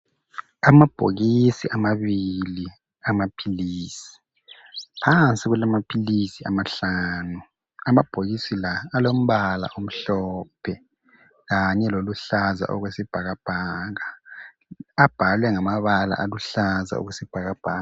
Amabhokisi amabili amaphilisi, phansi kulamaphilisi amahlanu. Amabhokisi la alombala omhlophe kanye loluhlaza okwesibhakabhaka. Abhalwe ngamabala aluhlaza okwesibhakabhaka.